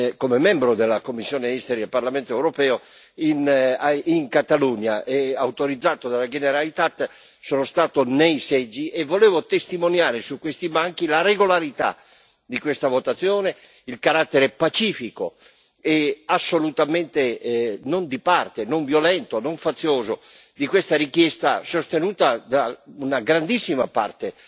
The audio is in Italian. come membro della commissione per gli affari esteri del Parlamento europeo in Catalogna e, autorizzato dalla Generalitat, sono stato ai seggi e volevo testimoniare su questi banchi la regolarità di questa votazione, il carattere pacifico e assolutamente non di parte, non violento, non fazioso di questa richiesta sostenuta da una grandissima parte